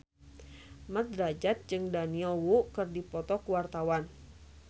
Mat Drajat jeung Daniel Wu keur dipoto ku wartawan